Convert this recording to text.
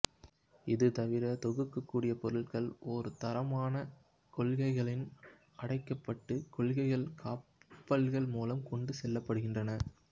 இது தவிர தொகுக்கக்கூடிய பொருள்கள் ஒரே தரமான கொள்கலன்களில் அடைக்கப்பட்டு கொள்கலக் கப்பல்கள் மூலம் கொண்டு செல்லப் படுகின்றன